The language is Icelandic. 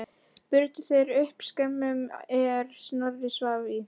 Brutu þeir upp skemmuna er Snorri svaf í.